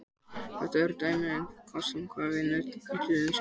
Þetta er dæmi um einn af kostum þess að vinna með tvinntölur í stað rauntalna.